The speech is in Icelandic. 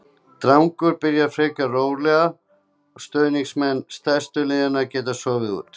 Dagurinn byrjar frekar rólega og stuðningsmenn stærstu liðanna geta sofið út.